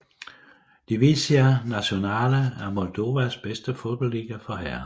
Divizia Națională er Moldovas bedste fodboldliga for herrer